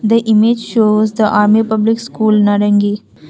the image shows the army public School narangi.